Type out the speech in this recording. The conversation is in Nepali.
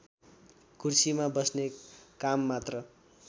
कुर्सीमा बस्ने काममात्र